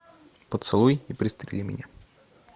поцелуй и пристрели меня